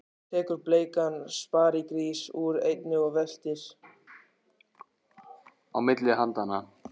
Tekur bleikan sparigrís úr einni og veltir á milli handanna.